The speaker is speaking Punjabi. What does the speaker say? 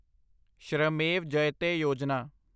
ਸ਼੍ਰਮੇਵ ਜਯਤੇ ਯੋਜਨਾ